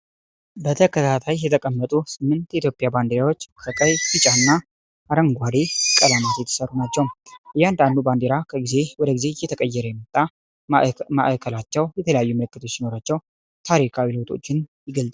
በተከታታይ የተቀመጡ ስምንት የኢትዮጵያ ባንዲራዎች ከቀይ፣ ቢጫና አረንጓዴ ቀለማት የተሠሩ ናቸው። እያንዳንዱ ባንዲራ ከጊዜ ወደ ጊዜ እየተቀየረ የመጣ ፣ ማዕከላቸው የተለያዩ ምልክቶች ሲኖሯቸው፣ ታሪካዊ ለውጦችን ይገልጻሉ።